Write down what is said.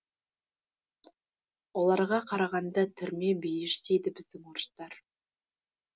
оларға қарағанда түрме бейіш дейді біздің орыстар